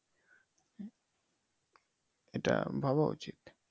এইটা ভাবা উচিত।